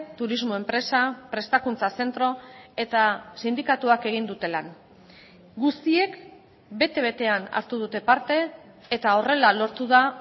turismo enpresa prestakuntza zentro eta sindikatuak egin dute lan guztiek bete betean hartu dute parte eta horrela lortu da